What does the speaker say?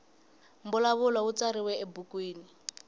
mbulavulo wu tsariwa ebukwini